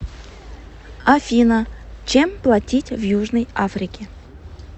афина чем платить в южной африке